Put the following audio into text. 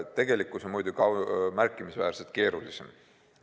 Tegelikkus on muidugi märkimisväärselt keerulisem.